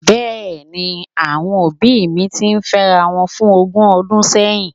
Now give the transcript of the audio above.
Bẹ́ẹ̀ni, àwọn òbí mi ti fẹ́rawọn fún ogún ọdún sẹ́yìn